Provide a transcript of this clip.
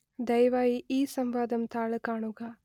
ദയവായി ഈ സംവാദം താൾ കാണുക